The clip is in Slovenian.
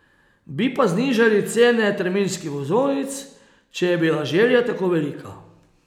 Bi pa znižali cene terminskih vozovnic, če je bila želja tako velika.